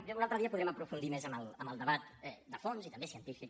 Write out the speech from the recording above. ja un altre dia podrem aprofundir més en el debat de fons i també científic